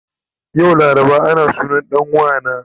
Yau laraba ana sunan dan wana